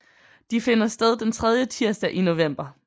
De finder sted den tredje tirsdag i november